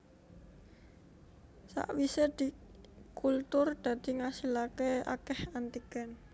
Sakwise dikultur dadi ngasilaké akeh antigen